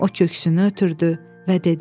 O köksünü ötürdü və dedi.